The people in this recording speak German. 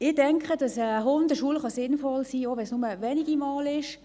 Ich denke, dass eine Hundeschule sinnvoll sein kann, auch wenn es nur wenige Male sind.